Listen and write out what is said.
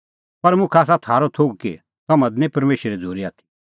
पर मुखा आसा थारअ थोघ कि तम्हां दी निं परमेशरे झ़ूरी आथी